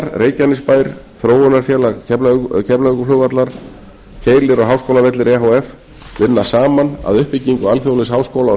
háskólagarðar reykjanesbær þróunarfélag keflavíkurflugvallar keilir og háskólavellir e h f vinna saman að uppbyggingu alþjóðlegs háskóla og